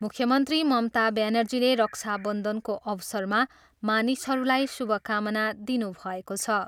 मुख्यमन्त्री ममता ब्यानर्जीले रक्षाबन्धनको अवसरमा मानिसहरूलाई शुभकामना दिनुभएको छ।